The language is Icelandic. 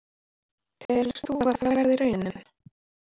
Telur þú að það verði raunin?